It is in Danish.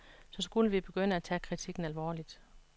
Så ville vi begynde at tage kritikken alvorligt.